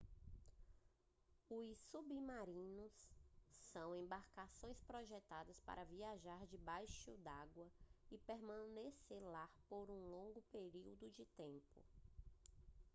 os submarinos são embarcações projetadas para viajar debaixo d'água e permanecer lá por um longo período de tempo